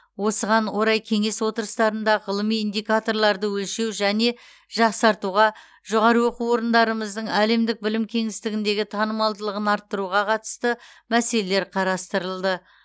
осыған орай кеңес отырыстарында ғылыми индикаторларды өлшеу және жақсартуға жоғары оқу орындарымыздың әлемдік білім кеңістігіндегі танымалдығын арттыруға қатысты мәселелер қарастырылды